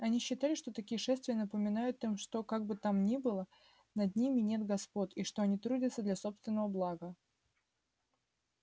они считали что такие шествия напоминают им что как бы там ни было над ними нет господ и что они трудятся для собственного блага